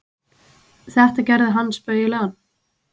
Þetta gerði hann spaugilegan.